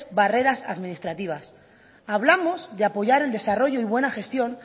barreras administrativas hablamos de apoyar el desarrollo y buena gestión